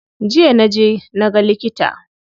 Jiya na je na ga likita.